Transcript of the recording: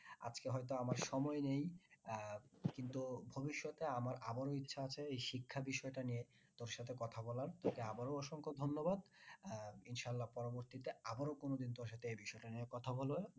আজকে হয়তো আমার সময় নেই আহ কিন্তু ভবিষ্যতে আমার আবারও ইচ্ছা আছে এই শিক্ষা বিষয়টা নিয়ে তোর সাথে কথা বলার আবারও অসংখ্য ধন্যবাদ আহ ইনশাল্লা পরবর্তীতে আবারও কোনোদিন তোর সাথে এই বিষয়টা নিয়ে কথা